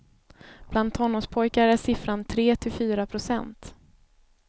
Bland tonårspojkar är siffran tre till fyra procent.